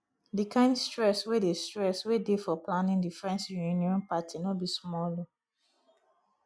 di kind stress wey dey stress wey dey for planning the friends reuion party no be small o